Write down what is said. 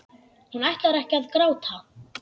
Hún ætlar ekki að gráta.